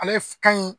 Ale ka ɲi